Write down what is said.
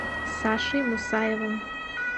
сашей мусаевым